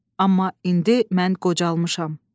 Amma indi mən qocalmışam.